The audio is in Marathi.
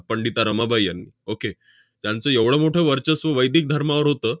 पंडिता रमाबाई यांनी. okay त्यांचं एवढं मोठं वर्चस्व वैदिक धर्मावर होतं,